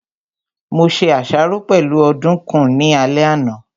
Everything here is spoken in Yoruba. Mo se àsáró pẹ̀lú ọ̀dùkún ní alẹ́ àná